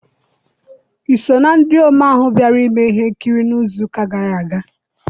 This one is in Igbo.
I so na ndị omee ahụ bịara mee ihe nkiri n'izu ụka gara aga?